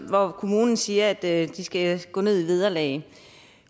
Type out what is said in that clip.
hvor kommunen siger at de skal gå ned i vederlag og